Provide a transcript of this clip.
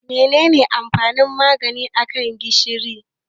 Menene amfanin Magi a kan gishiri?